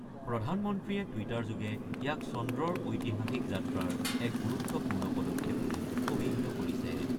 প্ৰধানমন্ত্ৰীয়ে টুইটাৰযোগে ইয়াক চন্দ্ৰৰ ঐতিহাসিক যাত্ৰাৰ এটা গুৰুত্বপূৰ্ণ পদক্ষেপ বুলি অভিহিত কৰিছে।